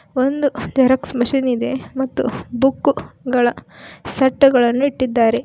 ಒಂದು xerox machine ಇದೆ ಮತ್ತು ಬುಕ್ಕು ಗಳ ಸೆಟ್ಟು ಗಳನ್ನು ಇಟ್ಟಿದ್ದಾರೆ.